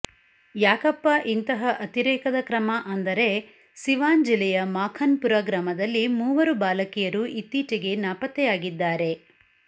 ಯಾಕಪ್ಪಾ ಇಂತಹ ಅತಿರೇಕದ ಕ್ರಮ ಅಂದರೆ ಸಿವಾನ್ ಜಿಲ್ಲೆಯ ಮಾಖನ್ ಪುರ ಗ್ರಾಮದಲ್ಲಿ ಮೂವರು ಬಾಲಕಿಯರು ಇತ್ತೀಚೆಗೆ ನಾಪತ್ತೆಯಾಗಿದ್ದಾರೆ